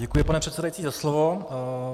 Děkuji, pane předsedající, za slovo.